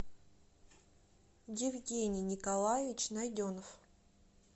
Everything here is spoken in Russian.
евгений николаевич найденов